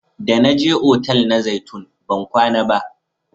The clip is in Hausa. Da na je otal na zaitun ban kwana ba